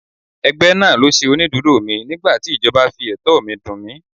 Ẹgbẹ́ náà ló ṣe onídùúró mi nígbàtí ìjọba fi ẹ̀tọ́ mi dùn mí.